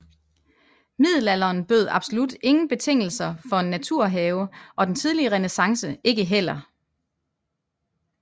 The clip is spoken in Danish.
Middelalderen bød absolut ingen betingelser for en naturhave og den tidlige renæssance ikke heller